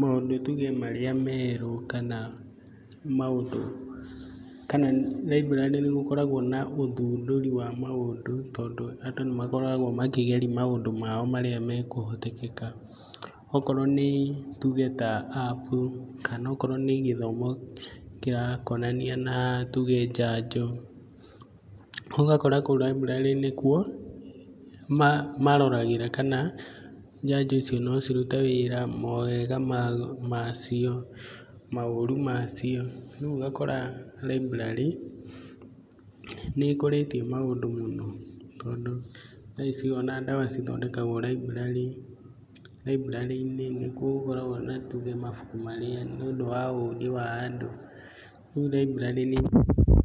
maũndũ tuge marĩa merũ kana library nĩ gũkoragwo na ũthundũri wa maũndũ. Tondũ andũ nĩ makoragwo makĩgeria maũndũ mao marĩa mekũhoteteka. Okorwo nĩ tuge ta app kana akorwo nĩ gĩthomo kĩrakonania na tuge njanjo, ũgakora kũu library nĩkuo maroragĩra kana njanjo icio no cirute wĩra mawega macio maũru macio. Rĩu ũgakora library nĩ ĩkũrĩtie maũndũ mũno tondũ thaa ici ona ndawa cithondekagwo library. library -inĩ nĩkuo gũkoragwo na tuge mabuku marĩa nĩ ũndũ wa ũgĩ wa andũ, rĩu libray